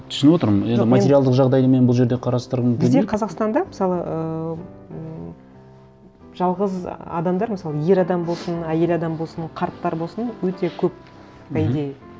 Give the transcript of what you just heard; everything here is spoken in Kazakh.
түсініп отырмын енді жоқ мен материалдық жағдайды бұл жерде қарастырғым келмейді бізде қазақстанда мысалы ыыы ммм жалғыз адамдар мысалы ер адам болсын әйел адам болсын қарттар болсын өте көп мхм по идее